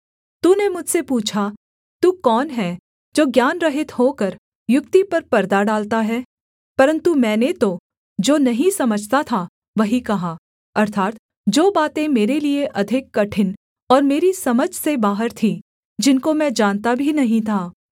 तूने मुझसे पूछा तू कौन है जो ज्ञानरहित होकर युक्ति पर परदा डालता है परन्तु मैंने तो जो नहीं समझता था वही कहा अर्थात् जो बातें मेरे लिये अधिक कठिन और मेरी समझ से बाहर थीं जिनको मैं जानता भी नहीं था